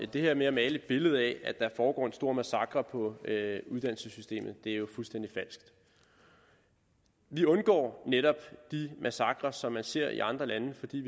det her med at male et billede af at der foregår en stor massakre på uddannelsessystemet er jo fuldstændig falsk vi undgår netop de massakrer som man ser i andre lande fordi